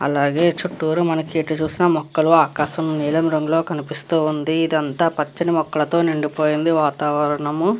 అలాగే చుట్టూరా మనకి ఎటు చూసిన మొక్కలు ఆకాశం నీలం రంగులో కనిపిస్తూ ఉంది. ఇదంతా పచ్చని మొక్కలతో నిండిపోయింది వాతావరణము --